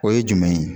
O ye jumɛn ye